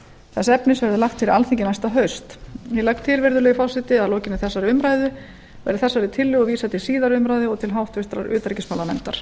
þess efnis verði lagt fyrir alþingi næsta haust ég legg til virðulegi forseti að að lokinni þessari umræðu verði þessari tillögu vísað til síðari umræðu og til háttvirtrar utanríkismálanefndar